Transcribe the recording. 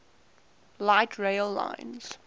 light rail lines